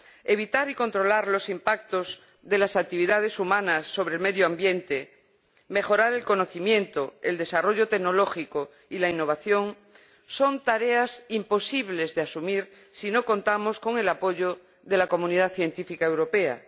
evitar y controlar los impactos de las actividades humanas sobre el medio ambiente, mejorar el conocimiento, el desarrollo tecnológico y la innovación son tareas imposibles de asumir si no contamos con el apoyo de la comunidad científica europea.